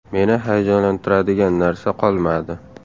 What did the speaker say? Meni hayajonlantiradigan narsa qolmadi.